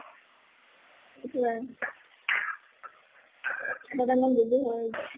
এটোয়ে busy হয়ে